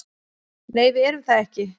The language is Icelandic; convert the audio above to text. Nei, við erum það ekki